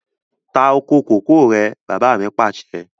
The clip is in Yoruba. Ta oko kòkó rẹ̀! Bàbá mi Pàṣẹ.